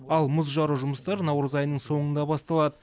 ал мұз жару жұмыстары наурыз айының соңында басталады